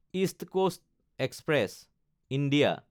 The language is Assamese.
east Coast Express (India)